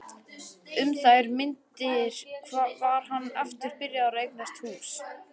Um þær mundir var hann aftur byrjaður að eignast hús.